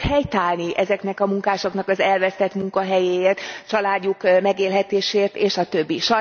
Ki fog helyt állni ezeknek a munkásoknak az elvesztett munkahelyéért, családjuk megélhetéséért és a többi?